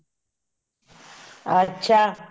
ਅੱਛਾ